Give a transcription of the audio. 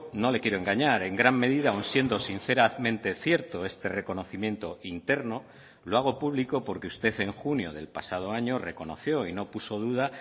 no le quiero engañar en gran medida aún siendo sinceramente cierto este reconocimiento interno lo hago público porque usted en junio del pasado año reconoció y no puso duda